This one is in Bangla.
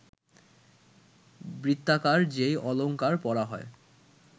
বৃত্তাকার যে অলঙ্কার পরা হয়